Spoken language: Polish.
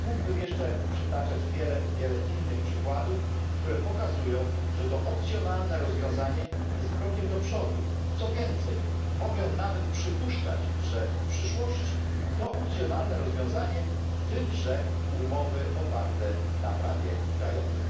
Mógłbym jeszcze przytaczać wiele innych przykładów, które pokazują, że to opcjonalne rozwiązanie jest krokiem do przodu, co więcej mogę nawet przypuszczać, że w przyszłości to opcjonalne rozwiązanie wyprze umowy oparte na prawie krajowym.